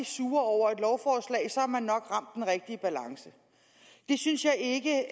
sure over et lovforslag så har man nok ramt den rigtige balance det synes jeg ikke